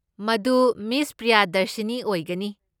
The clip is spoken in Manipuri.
ꯃꯗꯨ ꯃꯤꯁ ꯄ꯭ꯔꯤꯌꯥꯗꯔꯁꯤꯅꯤ ꯑꯣꯏꯒꯅꯤ꯫